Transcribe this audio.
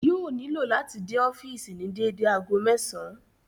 Yóò nílò láti dé ọ́fìsì ní dédé ago mẹ́sàn-àn